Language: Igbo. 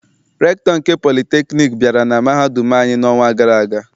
Rektọ nke politekniik bịara na mahadum anyị n'ọnwa gara aga.